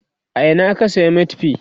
a Ina ka saya meatfie?